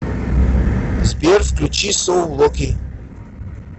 сбер включи соу локи